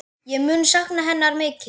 Ég mun sakna hennar mikið.